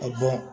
A